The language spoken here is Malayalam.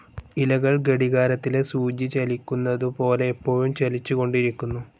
ഇലകൾ ഘടികാരത്തിലെ സൂചി ചലിക്കുന്നതു പോലെ എപ്പോഴും ചലിച്ചുകൊണ്ടിരിക്കുന്നു.